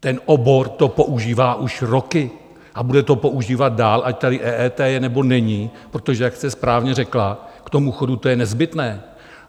Ten obor to používá už roky a bude to používat dál, ať tady EET je, nebo není, protože jak jste správně řekla, k tomu chodu to je nezbytné.